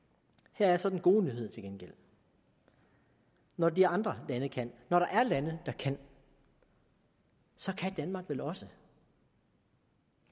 her er så den gode nyhed til gengæld når de andre lande kan når der er lande der kan så kan danmark vel også